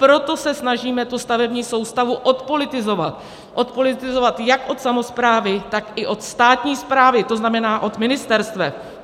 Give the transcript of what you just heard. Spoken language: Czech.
Proto se snažíme tu stavební soustavu odpolitizovat, odpolitizovat jak od samosprávy, tak i od státní správy, to znamená od ministerstev.